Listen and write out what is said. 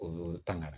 O y'olu ta ŋana